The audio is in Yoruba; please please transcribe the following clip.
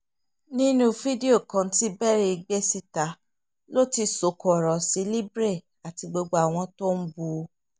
nínú fídíò kan tí berry gbé síta ló ti sọ̀kò ọ̀rọ̀ sí libre àti gbogbo àwọn tó ń bú u